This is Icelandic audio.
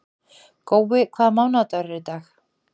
Gói, hvaða mánaðardagur er í dag?